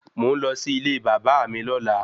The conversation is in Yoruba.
Mò ń lọ sí ilé bàbá à mi lọ́la